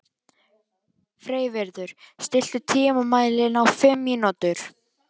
Freyviður, stilltu tímamælinn á fimm mínútur.